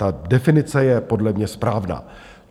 Ta definice je podle mě správná.